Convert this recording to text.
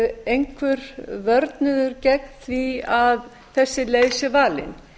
einhver vörnuður gegn því að þessi leið sé valin